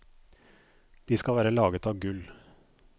De skal være laget av gull.